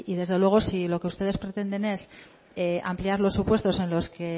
desde luego si lo que ustedes pretenden es ampliar los supuestos